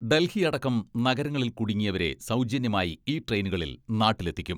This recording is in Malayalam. ഡൽഹി അടക്കം നഗരങ്ങളിൽ കുടുങ്ങിയവരെ സൗജന്യമായി ഈ ട്രെയിനുകളിൽ നാട്ടിലെത്തിക്കും.